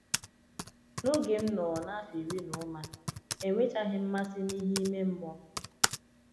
n'oge m nọọ na afọ iri n'ụma ,Enwechaghị m mmasị n’ihe ime mmụọ.